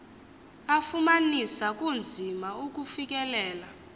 afumanisa kunzima ukufikelela